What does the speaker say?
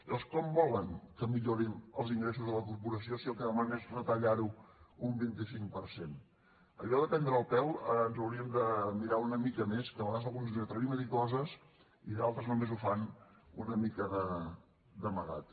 llavors com volen que millorin els ingressos de la corporació si el que demana és retallar ho un vint cinc per cent allò de prendre el pèl ens ho hauríem de mirar una mica més que a vegades alguns ens atrevim a dir coses i d’altres només ho fan una mica d’amagat